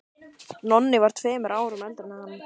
Nonni var tveimur árum eldri en hann.